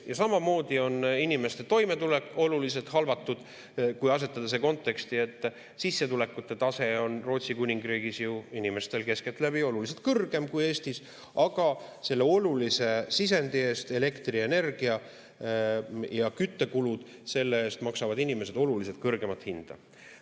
Ja samamoodi on inimeste toimetulek oluliselt halvatud, kui asetada see konteksti, et sissetulekute tase on Rootsi Kuningriigis ju inimestel keskeltläbi oluliselt kõrgem kui Eestis, aga selle olulise sisendi eest – elektrienergia ja küttekulud – maksavad inimesed oluliselt kõrgemat hinda.